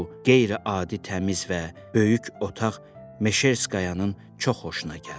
Qeyri-adi təmiz və böyük otaq Meşerskayanın çox xoşuna gəldi.